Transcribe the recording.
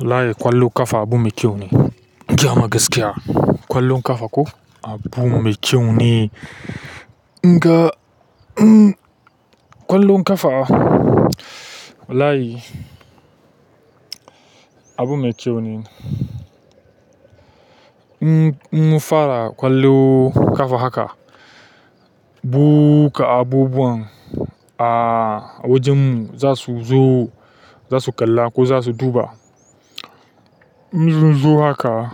Wallahi ƙwallon ƙafa abu mai kyau ne. In gaya ma gaskiya. Ƙwallon ƙafa ko abu mai kyau ne, in ga ƙwallon ƙafa walahi. Abu mai kyau ne. In mu fara ƙwallon ƙafa haka, buka abubuwan a wajen mu za su zo, za su kalla ko za su duba. In zun zo haka,